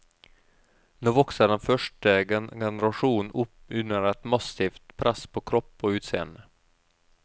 Nå vokser den første generasjonen opp under et massivt press på kropp og utseende.